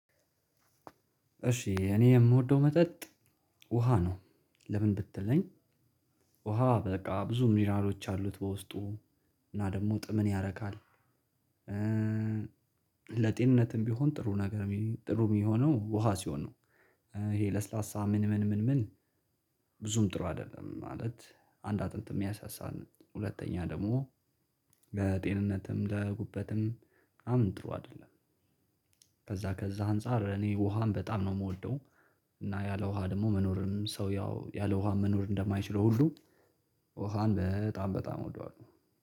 እሺ እኔ የምወደው መጠጥ ውሃ ነው። ለምን ብትለኝ ውሃ በቃ ብዙ ሚነራሎች አሉት በውስጡ እና ደግሞ ጥምን ያረካል። ለጤንነትም ቢሆን ጥሩ ነገር ጥሩ ሚሆነው ውሃ ሲሆን ነው። ይሄ ለስላሳ ምን ምን ምን ምን ብዙም ጥሩ አይደለም። ማለት አንድ አጥንት የሚያሳሳን ሁለተኛ ደግሞ ለጤንነትም ለጉበትም በጣም ጥሩ አይደለም። ከዛ ከዛ አንፃር እኔ ውሃን በጣም ነው ምወደው። እና ያለ ውሃ ደሞ መኖርን ሰውየው ያለ ውሃ መኖር እንደማይችለው ሁሉ ውሃን በጣም በጣም እወደዋለው